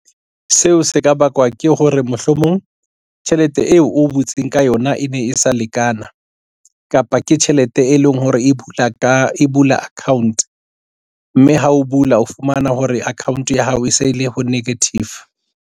Seo se ka bakwa ke hore mohlomong tjhelete eo o butseng ka yona e ne e sa lekana kapa ke tjhelete e leng hore e bula ka e bula account mme ha o bula o fumana hore account ya hao e se le ho negative.